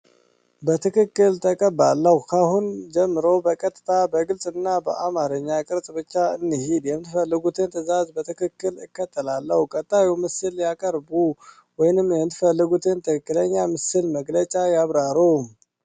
በትክክል ተቀባለሁ። ከአሁን ጀምሮ በቀጥታ፣ በግልጽ እና በአማርኛ ቅርጽ ብቻ እንሂድ። የምትፈልጉትን ትእዛዝ በትክክል እከተላለሁ። ቀጣዩን ምስል ያቀርቡ፣ ወይም የምትፈልጉትን ትክክለኛ ምስል መግለጫ ያብሩ።